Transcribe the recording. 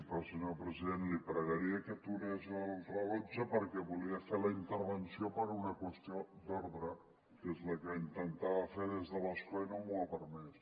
però senyor president li pregaria que aturés el rellotge perquè volia fer la intervenció per una qüestió d’ordre que és la que intentava fer des de l’escó i no m’ho ha permès